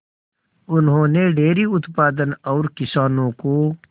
उन्होंने डेयरी उत्पादन और किसानों को